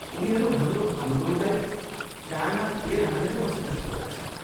उनीहरू हाम्रो अनुरोधलाई कानमा तेल हालेर बसेजस्तो लाग्छ।